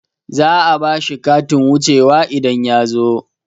Za'a bashi katin wuce wa idan yazo